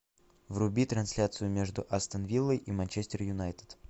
вруби трансляцию между астон виллой и манчестер юнайтед